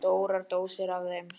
Stórar dósir af þeim.